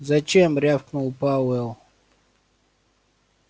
зачем рявкнул пауэлл